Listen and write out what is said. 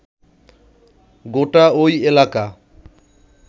গোটা ঐ এলাকা